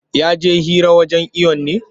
Ya je hira wurin iwon ne?